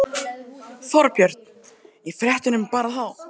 Þorbjörn: Í fréttunum bara þá?